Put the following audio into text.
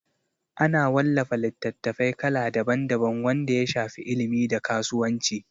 Ana wallafa littatafai kala daban daban wanda ya shafi ilimi da kasuwanci